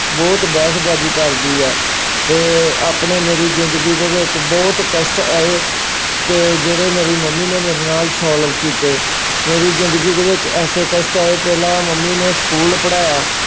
ਬਹੁਤ ਬਹਿਸਬਾਜ਼ੀ ਕਰਦੀ ਆ ਅਤੇ ਆਪਣੇ ਮੇਰੀ ਜ਼ਿੰਦਗੀ ਦੇ ਵਿੱਚ ਬਹੁਤ ਕਸ਼ਟ ਆਏ ਕਿ ਜਿਹੜੇ ਮੇਰੀ ਮੰਮੀ ਨੇ ਮੇਰੇ ਨਾਲ solve ਕੀਤੇ। ਮੇਰੀ ਜ਼ਿੰਦਗੀ ਦੇ ਵਿੱਚ ਐਸੇ ਕਸ਼ਟ ਆਏ, ਪਹਿਲਾਂ ਮੰਮੀ ਨੇ ਸਕੂਲ ਪੜ੍ਹਾਇਆ।